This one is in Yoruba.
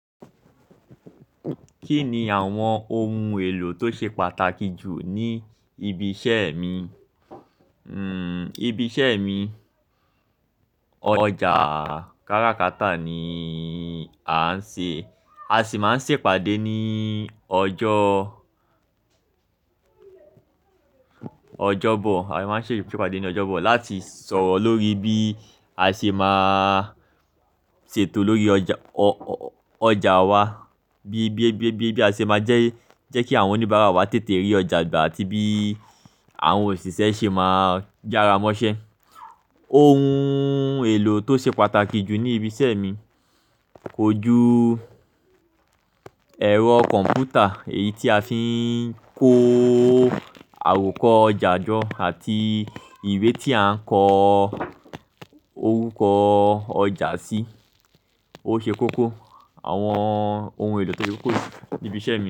Kí ni àwọn ohun èlò tó ṣe pàtàkì jù ní ibi iṣẹ́ mi? Hmm ibi iṣẹ́ mi, ọjà káràkátà ni a ń ṣe. A sì máa ń ṣe ìpàdé ní ọjọ́, ọjọ́bọ̀. A máa ń ṣe ìpàdé ní ọjọ́bọ̀ láti sọ̀rọ̀ lórí bí a ṣe máa ṣètò lórí ọjà, ọjà wa. Bí, bí, bí, bí, bí a ṣe máa jẹ́, jẹ́ kí àwọn oníbàárà wa tètè rí ọjà gbà àti bí àwọn òṣìṣẹ́ ṣe máa yára mọ́ṣẹ́. Ohun èlò tó ṣe pàtàkì jù ní ibi iṣẹ́ mi, kojú ẹ̀rọ kọ̀m̀pútà, èyí tí a fi ń ko àwòkọ́ ọjà jọ́ àti ìwé tí a ń kọ orúkọ ọjà sí. Ó ṣe kókó. Àwọn ohun èlò tó ṣe kókó níbi iṣẹ́ mi.